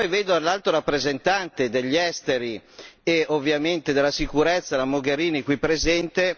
Poi vedo l'Alto rappresentante degli esteri e ovviamente della sicurezza, la Mogherini, qui presente.